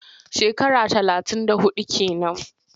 Shekara talatin da huɗu ke nan.